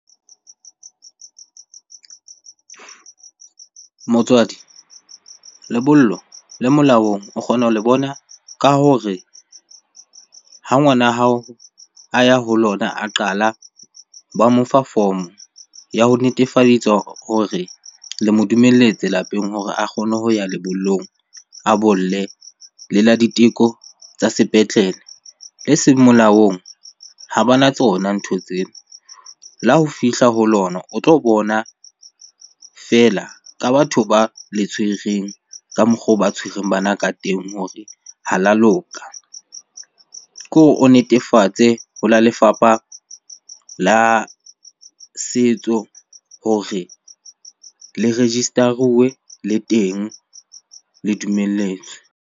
Motswadi lebollo le molaong o kgona ho le bona ka hore ha ngwana hao a ya ho lona a qala, ba mo fa form-o ya ho netefalletsa hore le mo dumelletse lapeng hore a kgone ho ya lebollong, a bolle. Le la diteko tsa sepetlele, le seng molaong ha bana tsona ntho tseo. Le ha o fihla ho lona o tlo bona fela ka batho ba le tshwereng ka mokgwa oo ba tshwereng bana ka teng hore ha la loka. Kore o netefatse ho la lefapha la setso hore le register-uwe, le teng le dumelletswe.